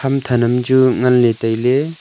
ham than am chu nganley tailey.